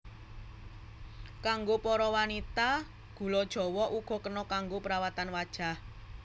Kanggo para wanita gula jawa uga kena kanggo perawatan wajah